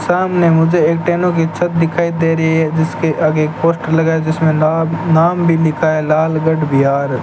सामने मुझे एक टेनों कि छत दिखाई दे रही हैं जिसके आगे एक पोस्टर लगा हैं जिसपे नाम नाम भी लिखा हैं लालगढ़ बिहार।